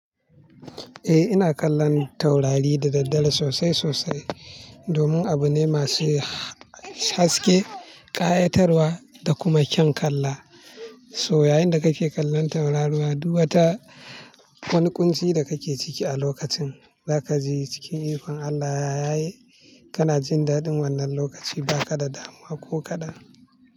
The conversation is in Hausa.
Ina kallon taurari da daddare sosai sosai domin abu ne masu haske, ƙayatarwa da kuma kyan kalla. Toh yayin da kake kallon tauraruwa, duk waata wani ƙunci da kake ciki a lokacin. Za ka ji cikin ikon Allah ya yaye. Kana jin daɗin wannan lokaci ba ka da damuwa ko kaɗa.